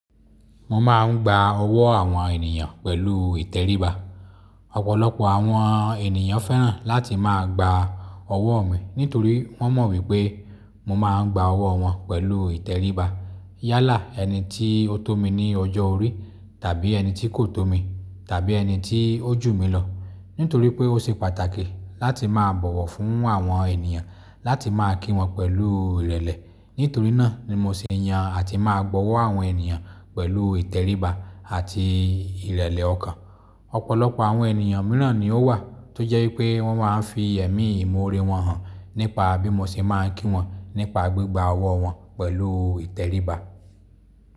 Mo máa ń gba ọwọ́ àwọn ènìyàn pẹ̀lú ìtẹríba. Ọ̀pọ̀lọpọ̀ àwọn ènìyàn fẹ́ràn láti máa gba ọwọ́ mi nítorí wọ́n mọ̀ wípé mo máa ń gba ọwọ́ wọn pẹ̀lú u ìtẹríba. Yálà ẹni tí ó tó mi ní ọjọ́ orí tàbí ẹni tí kò tó mi tàbí ẹni tí ó jù mí lọ. Nítorí pé ó ṣe pàtàkì láti máa bọ̀wọ̀ fún àwọn ènìyàn láti máa kí wọn pẹ̀lú ìrẹ̀lẹ̀. Nítorí náà ni mo ṣe yan àti máa gbọwọ́ àwọn ènìyàn pẹ̀lú u ìtẹríba àti ìrẹ̀lẹ̀ ọkàn. Ọ̀pọ̀lọpọ̀ àwọn ènìyàn mìíràn ni ó wà tó jẹ́ wípé wọ́n máa ń fi ẹ̀mí im'oore wọn hàn nípa bí mo ṣe máa ń kí wọn nípa gbígba ọwọ́ wọn pẹ̀lú ìtẹríba.